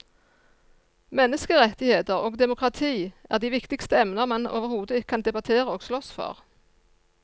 Menneskerettigheter og demokrati er de viktigste emner man overhodet kan debattere og slåss for.